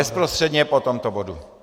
Bezprostředně po tomto bodu.